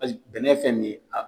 Paseke bɛnɛ fɛn nin ye a tɛ